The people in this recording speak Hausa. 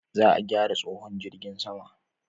Za a gyara tsohon jirgin sama